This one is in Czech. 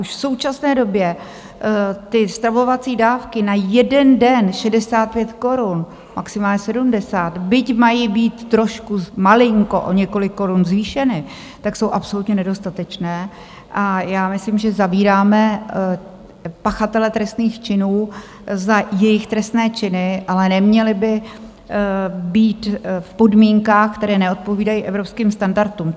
Už v současné době ty stravovací dávky na jeden den 65 korun, maximálně 70, byť mají být trošku malinko o několik korun zvýšeny, tak jsou absolutně nedostatečné, a já myslím, že zavíráme pachatele trestných činů za jejich trestné činy, ale neměli by být v podmínkách, které neodpovídají evropským standardům.